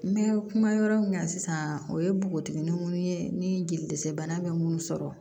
N bɛ kuma yɔrɔ min na sisan o ye npogotiginin minnu ye ni jeli desɛbana bɛ minnu sɔrɔ